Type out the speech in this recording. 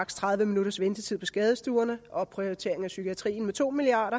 tredive minutters ventetid på skadestuerne opprioritering af psykiatrien med to milliard